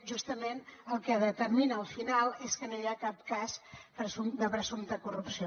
justament el que determina al final és que no hi ha cap cas de presumpta corrupció